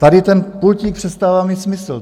Tady ten pultík přestává mít smysl.